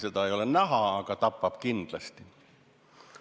Vingu ei ole näha, aga ta tapab kindlasti.